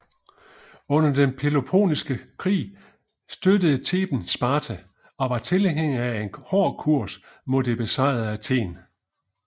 Under den Peloponnesiske Krig støttede Theben Sparta og var tilhænger af en hård kurs mod det besejrede Athen